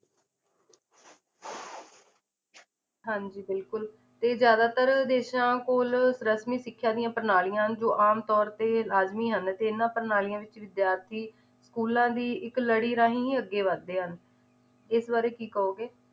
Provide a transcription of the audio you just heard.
ਹਾਂਜੀ ਬਿਲਕੁਲ ਤੇ ਜ਼ਿਆਦਾਤਰ ਦੇਸ਼ਾਂ ਕੋਲ ਰਸਮੀ ਸਿੱਖਿਆਂ ਦੀਆਂ ਪ੍ਰਣਾਲੀਆਂ ਹਨ ਜੋ ਆਮ ਤੌਰ ਤੇ ਲਾਜ਼ਮੀ ਹਨ ਤੇ ਇਹਨਾਂ ਪ੍ਰਣਾਲੀਆਂ ਵਿੱਚ ਵਿਦਿਆਰਥੀ ਸਕੂਲਾਂ ਦੀ ਇੱਕ ਲੜੀ ਰਾਹੀਂ ਹੀ ਅੱਗੇ ਵੱਧਦੇ ਹਨ, ਇਸ ਬਾਰੇ ਕੀ ਕਹੋਗੇ